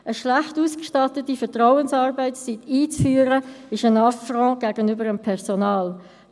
Eine schlecht ausgestattete Vertrauensarbeitszeit einzuführen, ist ein Affront gegenüber dem Personal.